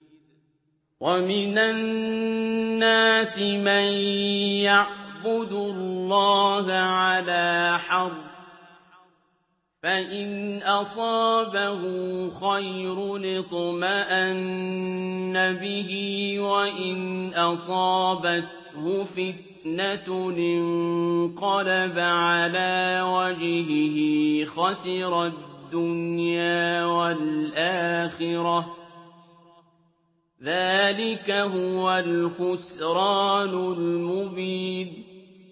وَمِنَ النَّاسِ مَن يَعْبُدُ اللَّهَ عَلَىٰ حَرْفٍ ۖ فَإِنْ أَصَابَهُ خَيْرٌ اطْمَأَنَّ بِهِ ۖ وَإِنْ أَصَابَتْهُ فِتْنَةٌ انقَلَبَ عَلَىٰ وَجْهِهِ خَسِرَ الدُّنْيَا وَالْآخِرَةَ ۚ ذَٰلِكَ هُوَ الْخُسْرَانُ الْمُبِينُ